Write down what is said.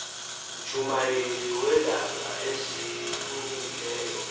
mjumayeli weendaba ezilungileyo